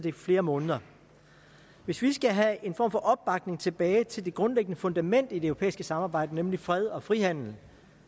i flere måneder hvis vi skal have en form for opbakning tilbage til det grundlæggende fundament i det europæiske samarbejde nemlig fred og frihandel